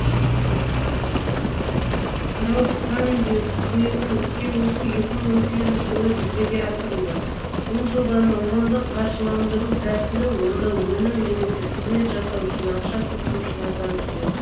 краудфандинг қызметін іске қосу екі мың он сегізінші жылы жүзеге асырылды бұл жобаны ұжымдық қаржыландыру тәсілі онда өнім немесе қызмет жасау үшін ақша тұтынушылардан түседі